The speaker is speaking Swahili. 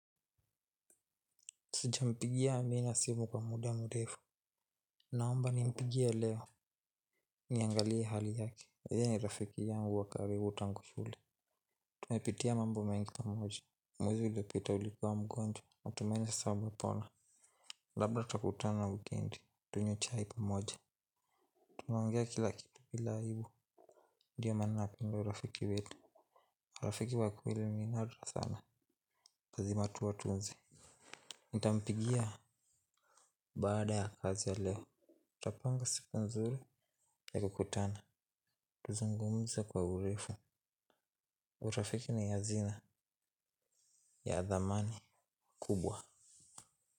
Sijampigia amina simu kwa muda mrefu naomba nimpigie leo. Niangalie hali yake yeye ni rafiki yangu wa karibu tango shule. Tumepitia mambo mengi pamoja. Mwezi uliopita ulikua mgonjwa. Natumaini sasa umepona. Labda tutakutana wikendi. Tunywe chai pamoja. Tumeongea kila kitu bila aibu. Ndiyo maana napenda urafiki wetu. Rafiki wa kweli ni nadra sana lazima tu watunze. Nitampigia. Baada ya kazi ya leo tutapanga siku nzuri ya kukutana tuzungumze kwa urefu urafiki ni hazina ya dhamani kubwa.